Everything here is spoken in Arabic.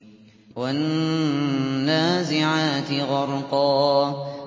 وَالنَّازِعَاتِ غَرْقًا